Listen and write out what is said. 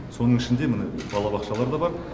соның ішінде міне балабақшалар да бар